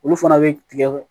Olu fana bɛ tigɛ